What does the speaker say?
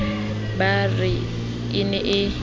ba re e ne e